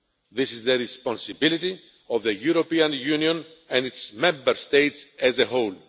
This is the responsibility of the European Union and its Member States as a whole.